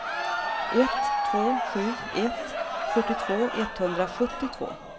ett två sju ett fyrtiotvå etthundrasjuttiotvå